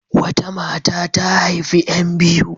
Wata mata ta haifi ƴan biyu.